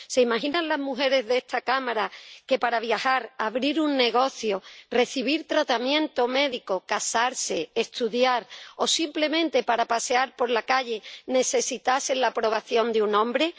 ¿Se imaginan las mujeres de esta Cámara que para viajar, abrir un negocio, recibir tratamiento médico, casarse, estudiar o simplemente para pasear por la calle necesitasen la aprobación de un hombre?